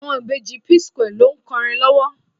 Àwọn ìbejì P-square ló ń kọrin lọ́wọ́.